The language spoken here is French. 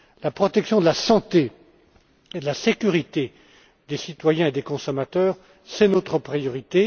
La protection de la santé et de la sécurité des citoyens et des consommateurs est notre priorité.